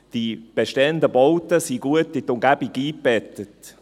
Die bestehenden Bauten sind gut in die Umgebung eingebettet.